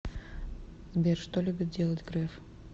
сбер что любит делать греф